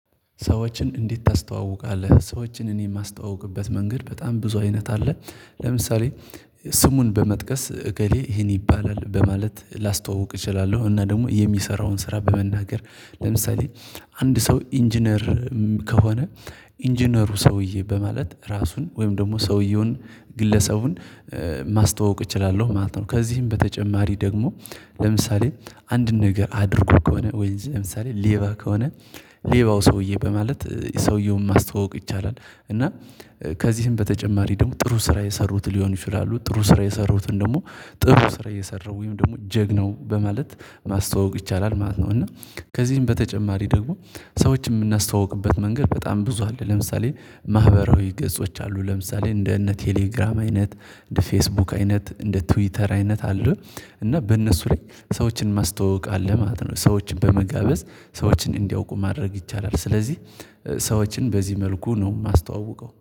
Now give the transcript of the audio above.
ሰዎችን እንዴት? ታስተዋውቃለህ ሰዎችን እኔ የማስተዋውቅበት መንገድ በጣም ብዙ አይነት አለ። ለምሳሌ ስሙን በመጥቀስ እገሌ ይሄን ይባላል በማለት ላስተዋውቅ እችላለሁ እና ደግሞ የሚሰራውን ስራ በመናገር ለምሳሌ አንድ ሰው ኢንጂነር ከሆነ ኢንጂነሩ ሰውዬ በማለት ራሱን ወይም ደግሞ ሰውየውን ግለሰቡን ማስተዋወቅ እችላለሁ ማለት ነው። ከዚህም በተጨማሪ ደግሞ ለምሳሌ አንድ ነገር አድርጎ ከሆነ ወይስ ለምሳሌ ሌባ ከሆነ ሌባው ሰውዬ በማለት ሰውየውን ማስተዋወቅ ይቻላል። እና ከዚህም በተጨማሪ ደግሞ ጥሩ ስራ የሰሩት ሊሆን ይችላሉ ጥሩ ስራ የሰሩትን ደግሞ ጥሩ ስራ የሰራው ወይም ደግሞ ጀግናው በማለት ማስተዋወቅ ይቻላል ማለት ነው። እና ከዚህም በተጨማሪ ደግሞ ሰዎች የምናስተዋውቅበት መንገድ በጣም ብዙ አለ ለምሳሌ ማህበራዊ ገጾች አሉ ለምሳሌ እንደ እነ ቴሌግራም አይነት እንደ ፌስቡክ አይነት እንደ ትዊተር አይነት አሉ። እና በእነሱ ላይ ሰዎችን ማስተዋወቅ አለ ማለት ነው። ሰዎችን በመጋበዝ ሰዎችን እንዲያውቁ ማድረግ ይቻላል ስለዚህ ስዎችን በዚህ መልኩ ነው የማስተዋውቀው